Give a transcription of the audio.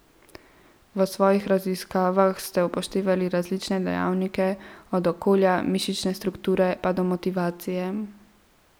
V svojih raziskavah ste upoštevali različne dejavnike, od okolja, mišične strukture pa do motivacije.